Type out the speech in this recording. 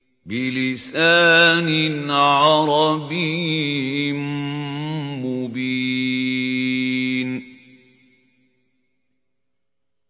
بِلِسَانٍ عَرَبِيٍّ مُّبِينٍ